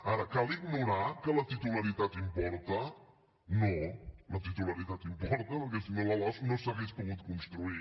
ara cal ignorar que la titularitat importa no la titularitat importa perquè si no la losc no s’hauria pogut construir